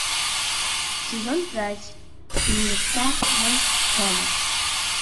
сезон пять фильмеца волчонок